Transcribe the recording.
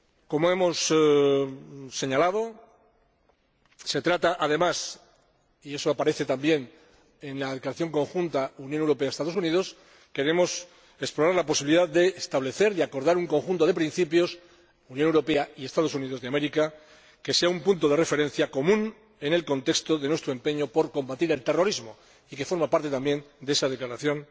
Como hemos señalado, se trata, además —y eso aparece también en la declaración conjunta Unión Europea Estados Unidos—, de explorar la posibilidad de establecer y acordar un conjunto de principios Unión Europea Estados Unidos de América, que sea un punto de referencia común en el contexto de nuestro empeño por combatir el terrorismo, que forma parte también de esa declaración